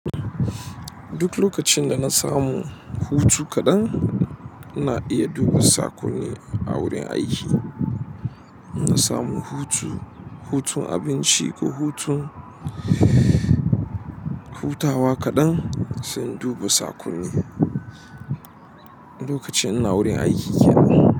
Duk lokacin dana samu hutu kaɗan ina iya duba sakonni a wurin aiki insamu hutu, hutun abinci ko hutun hutawa kaɗan, sai in duba saƙonni. Lokacin ina wurin aiki kenan.